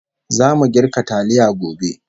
Zamu girka taliya gobe